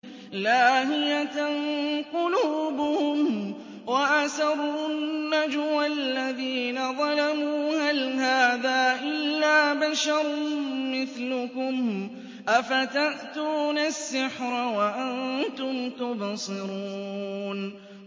لَاهِيَةً قُلُوبُهُمْ ۗ وَأَسَرُّوا النَّجْوَى الَّذِينَ ظَلَمُوا هَلْ هَٰذَا إِلَّا بَشَرٌ مِّثْلُكُمْ ۖ أَفَتَأْتُونَ السِّحْرَ وَأَنتُمْ تُبْصِرُونَ